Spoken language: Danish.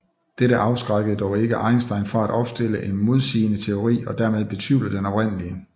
Dette afskrækkede dog ikke Einstein fra at opstille en modsigende teori og dermed betvivle den oprindelige